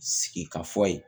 Sigi ka fɔ ye